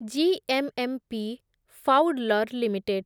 GMMP ଫାଉଡଲର୍ limited